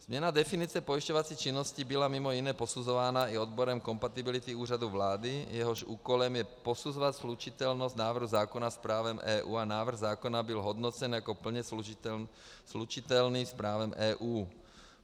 Změna definice pojišťovací činnosti byla mimo jiné posuzována i odborem kompatibility Úřadu vlády, jehož úkolem je posuzovat slučitelnost návrhu zákona s právem EU, a návrh zákona byl hodnocen jako plně slučitelný s právem EU.